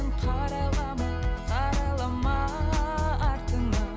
қарайлама қарайлама артыңа